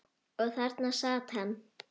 Og þarna sat hann.